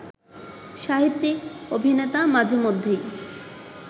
সাহিত্যিক, অভিনেতা মাঝেমধ্যেই